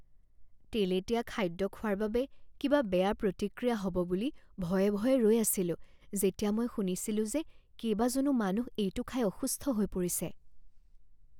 তেলেতীয়া খাদ্য খোৱাৰ বাবে কিবা বেয়া প্ৰতিক্ৰিয়া হ'ব বুলি ভয়ে ভয়ে ৰৈ আছিলো যেতিয়া মই শুনিছিলোঁ যে কেইবাজনো মানুহ এইটো খাই অসুস্থ হৈ পৰিছে।